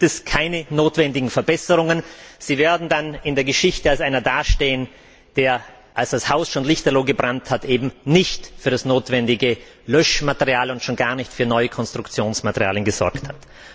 Da gibt es keine notwendigen Verbesserungen, sie werden in der Geschichte als einer dastehen, der, als das Haus schon lichterloh gebrannt hat, nicht für das notwendige Löschmaterial und schon gar nicht für neue Konstruktionsmaterialien gesorgt hat.